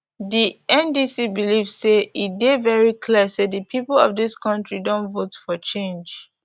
di ndc believe say e dey very clear say di pipo of dis kontri don vote for change